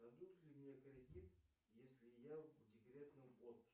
дадут ли мне кредит если я в декретном отпуске